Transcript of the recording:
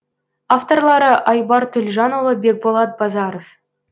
авторлары айбар төлжанұлы бекболат базаров